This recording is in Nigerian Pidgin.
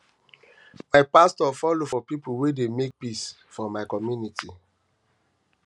my pastor folo for pipo wey dey um make peace um for my community my community